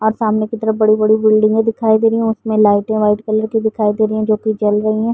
और सामने की तरफ बड़ी-बड़ी बिल्डिंगे दिखाई दे रही हैं उसमें लाइटें वाइट कलर की दिखाई दे रहीं हैं जोकि जल रहीं हैं।